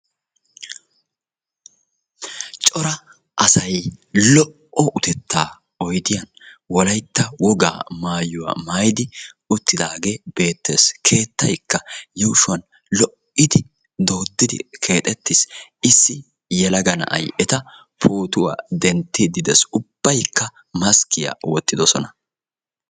cora asay lo'o utettaa oydiyan uttidi beettees. qassi issi yelagay eta pootuwa dentiidi beettes. ubaykka maskkiya wotti uttidosona.